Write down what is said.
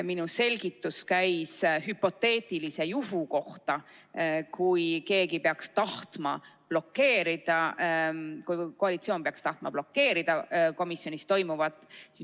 Minu selgitus käis hüpoteetilise juhu kohta, kui keegi koalitsioonist peaks tahtma blokeerida komisjonis toimuvat.